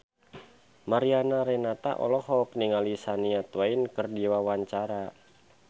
Mariana Renata olohok ningali Shania Twain keur diwawancara